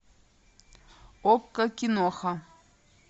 окко киноха